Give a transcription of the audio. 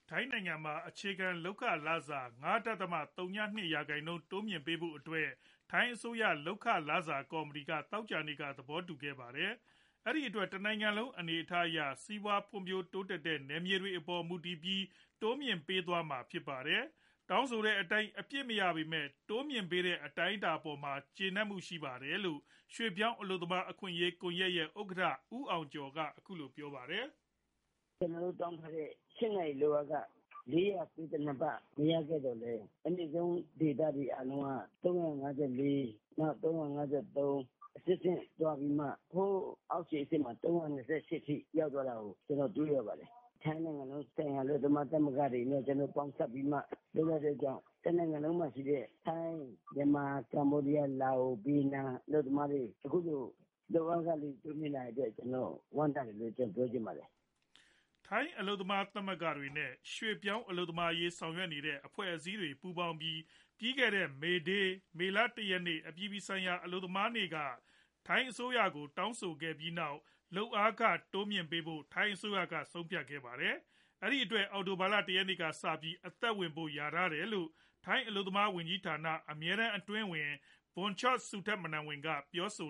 ထိုင်းနိုင်ငံမှာ အခြေခံ လုပ်ခလစာ ၅.၀၂ ရာခိုင်နှုန်း တိုးမြှင့်ပေးဖို့အတွက် ထိုင်းအစိုးရ လုပ်ခ၊လစာ ကော်မတီ က သောကြာနေ့က သဘောတူခဲ့ပါတယ် ။ ဒီအတွက် တနိုင်ငံလုံး အနေအထားအရ စီးပွားဖွံဖြိုးတိုးတက်တဲ့ နယ်မြေတွေအပေါ် မူတည်ပြီး တိုးမြှင့်ပေးသွားမှာဖြစ်ပါတယ် ။ တောင်းဆိုတဲ့အတိုင်း အပြည့်မရပေမဲ့ တိုးမြှင့်ပေးတဲ့ အတိုင်းအတာအပေါ် ကြေနပ်မူရှိကြတယ်လို့ ရွှေပြောင်းအလုပ်သမား အခွင့်အရေး ကွန်ယက်ရဲ့ ဥက္ကဌ ဦးအောင်ကျော် က အခုလိုပြောပါတယ်။ " ကျနော်တို့ တောင်းထားတဲ့ တနေ့ ၈နာရီ လုပ်အားခ ၄၉၂ဘတ် ဆိုတာ မရပေမယ့် အမြင့်ဆုံးဒေသကတော့ ၃၅၄ ဘတ်၊ နောက် ၃၅၃ ဘတ် ၊ အသင့်အတင့်ရပြီး အောက်ခြေအဆင့်ကတော့ ၃၂၈ဘတ် အထိ ပေးတာဖြစ်ပါတယ်။ ထိုင်း၊ မြန်မာ၊ လာအိုဝ်၊ ဗီယက်နမ်၊ ကမ္ဘောဒီးယား အလုပ်သမားတွေ အခုဆို လုပ်အားခ တိုးမြှင့်ပေးလိုက်တဲ့အတွက် ကျနော်ဝမ်းသာတယ်လို့ပြောချင်ပါတယ် " ထိုင်းအလုပ်သမား သမဂ္ဂတွေနဲ့ ရွှေပြောင်းအလုပ်သမားရေး ဆောင်ရွက်နေတဲ့အဖွဲ့ အစည်းတွေပူးပေါင်းပြီး ပြီးခဲတဲ့ မေဒေး မေလ (၁ ) နေ့ အပြည်ပြည်ဆိုင်ရာ အလုပ်သမားနေ့ က ထိုင်းအစိုးရကို တောင်းဆိုခဲ့ပြီးနောက် လုပ်အားခ တိုးမြှင့်ပေးဖို့ ဆုံးဖြတ်ခဲ့ပါတယ် ။ အဲဒီအတွက် အောက်တိုဘာလ ၁ ရက်နေ့ကစပြီး အသက်ဝင်ဖို့ လျှာထားတယ်လို့ ထိုင်းအလုပ်သမားဝန်ကြီးဌာန အမြဲတန်း အတွင်းဝန် ဘွန်ချော့ စူထတ်မနတ်ဝန် က ပြောဆိ